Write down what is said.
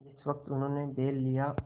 जिस वक्त उन्होंने बैल लिया